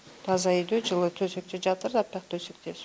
таза үйде жылы төсекте жатыр аппақ төсекте